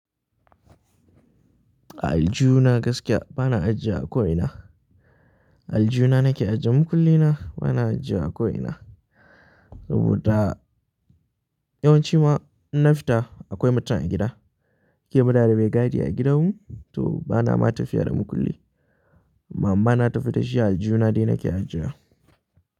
Aljihu na gaskiya bana ajiya a ko ina. Aljihu na nake ajiye makulli na bana ajiye a ko ina. Saboda yawanci ma in na fita akwai mutum a gida, da yake muna da mai gadi a gidan mu, to bana ma tafiya da makulli. Mama na ta fitar shi a aljihu na dai nake ajjewa.